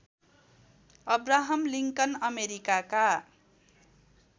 Abraham Lincoln अमेरिकाका